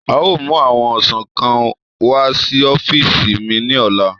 A o mu awọn ọsan kan wa si ọfiisi mi ni ọla